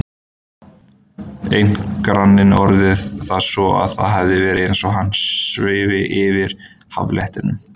Einn granninn orðaði það svo að það hefði verið eins og hann svifi yfir haffletinum.